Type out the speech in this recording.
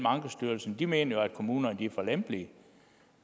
ankestyrelsen de mener jo at kommunerne er for lempelige